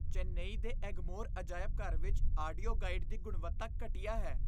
ਚੇਨੱਈ ਦੇ ਐਗਮੋਰ ਅਜਾਇਬ ਘਰ ਵਿੱਚ ਆਡੀਓ ਗਾਈਡ ਦੀ ਗੁਣਵੱਤਾ ਘਟੀਆ ਹੈ।